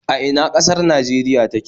A ina ƙasar Najeriya take